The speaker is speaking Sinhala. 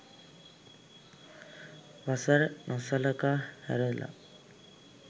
වසර නොසලකා හැරල